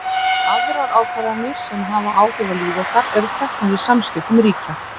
Aðrar ákvarðanir sem hafa áhrif á líf okkar eru teknar í samskiptum ríkja.